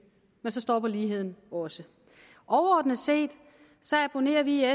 men så stopper ligheden også overordnet set abonnerer vi i